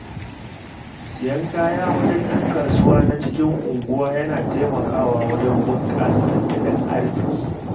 Siyan kaya wajen ƴan kasuwa na cikin unguwa yana taimakawa wajen bunƙasa tattalin arzikin.